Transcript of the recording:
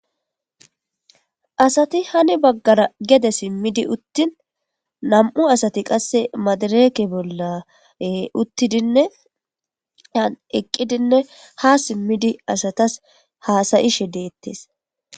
Asati hani baggara gede simmi uttin,nam'u asati qasse madireke bolla uttidinne eqqidine haa simmidi asatas haasa'ishe deetees.